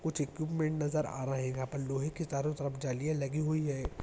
कुछ इक्विपमेंट नजर आ रहे है आपन लोहे की चारों तरफ जालिया लगी हुई है।